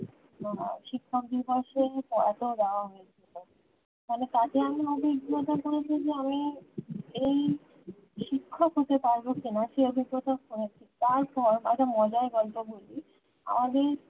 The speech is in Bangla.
শিক্ষক দিবস এ কত রঙ ফলে তাতে আমি অভিজ্ঞতা করেছি যে আমি এই শিক্ষক হতে পারবো কিনা সে অভিজ্ঞতা করেছি তারপর আরও মজার গল্প বলি আগে